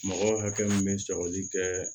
Mɔgɔ hakɛ min bɛ sɔgɔli kɛ